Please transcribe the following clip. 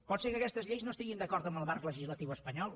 pot ser que aquestes lleis no estiguin d’acord amb el marc legislatiu espanyol